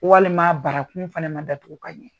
Walima barakun fana ma datugu ka ɲɛ.